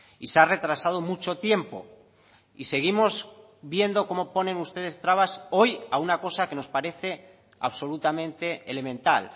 y se ha retrasado mucho tiempo y seguimos viendo cómo ponen ustedes trabas hoy a una cosa que nos parece absolutamente elemental